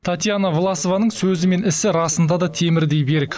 татьяна власованың сөзі мен ісі расында да темірдей берік